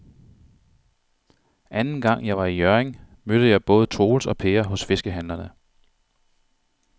Anden gang jeg var i Hjørring, mødte jeg både Troels og Per hos fiskehandlerne.